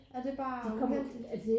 Er det bare uheldigt?